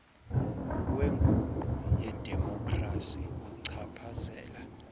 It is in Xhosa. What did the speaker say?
wenguqu yedemokhrasi uchaphazela